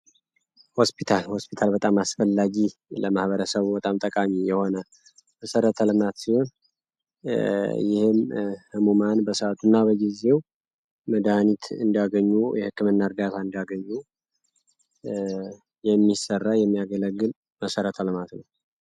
ሆስፒታል ሆስፒታል በጣም አስፈላጊ ለማህበረሰቡ በጣም ጠቃሚ የሆነ መሰረተ ልማት ሲሆን ይህም ህሙማን በሰዓቱና በጊዜው መድሀኒት እንዲያገኙ የህክምና እርዳታ እንዲያገኙ የሚሰራና የሚያገለግል መሰረተ ልማት ነው።